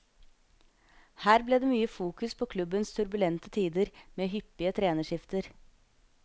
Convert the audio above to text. Her ble det mye fokus på klubbens turbulente tider med hyppige trenerskifter.